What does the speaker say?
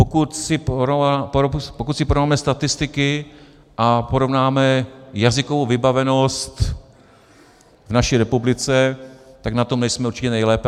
Pokud si porovnáme statistiky a porovnáme jazykovou vybavenost v naší republice, tak na tom nejsme určitě nejlépe.